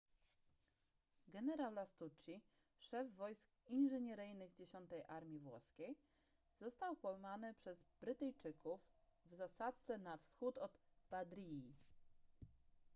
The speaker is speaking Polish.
generał lastucci szef wojsk inżynieryjnych dziesiątej armii włoskiej został pojmany przez brytyjczyków w zasadzce na wschód od badriji